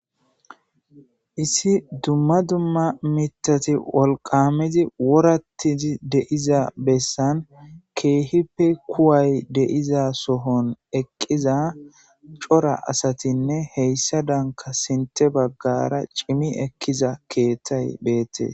Issi dumma dumma mitati wolqamizi worattizi deiza bessan keehipe kuway deiza sohon eqqiza cora asatinne heyssa danka sinte baggara cimi ekkiza keettay beette